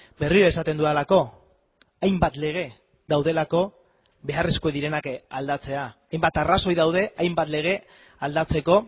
berriro esaten dudalako hainbat lege daudelako beharrezkoak direnak aldatzea hainbat arrazoi daude hainbat lege aldatzeko